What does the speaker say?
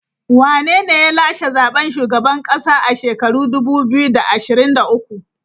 Wanene ya lashe zaben shugaban kasa a shekara dubu biyu da ashirin da uku.